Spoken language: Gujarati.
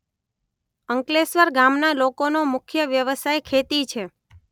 અંકલેશ્વર ગામના લોકોનો મુખ્ય વ્યવસાય ખેતી છે